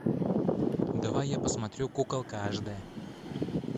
давай я посмотрю куколка ашдэ